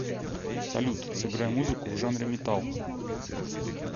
салют сыграй музыку в жанре метал